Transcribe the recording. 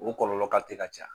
O kɔlɔlɔ kalitɛ ka ca.